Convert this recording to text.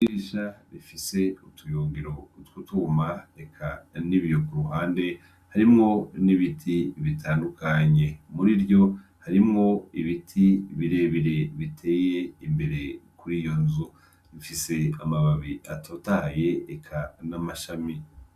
Idirisha rifise utuyungiro twutwuma nibiyo kuruhande harimwo nibiti bitandukanye murivyo harimwo ibiti birebire biteye imbere yiyo nzu bifise amababi atotaye eka namashami.